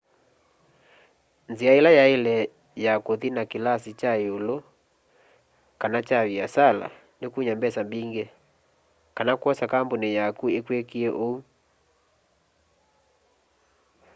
nzia ila yaile ya kuthi na kilasi kya iulu kana kya viasala ni kumya mbesa mbingi kana kwosa kambuni yaku ikwikie úu